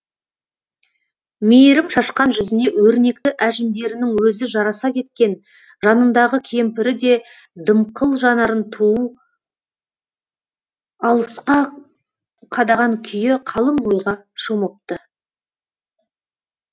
мейірім шашқан жүзіне өрнекті әжімдерінің өзі жараса кеткен жанындағы кемпірі де дымқыл жанарын түу алысқа қадаған күйі қалың ойға шомыпты